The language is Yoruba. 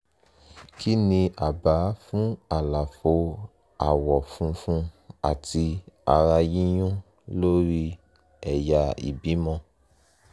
kí ni àbá fún àlàfo àwọ̀ funfun àti ara yíyún lórí ẹ̀yà ìbímọ?